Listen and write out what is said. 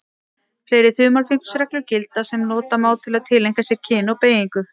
Fleiri þumalfingursreglur gilda sem nota má til að tileinka sér kyn og beygingu.